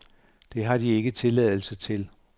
Det har de ikke tilladelse til.